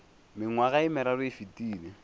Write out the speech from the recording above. mengwaga ye meraro e fetile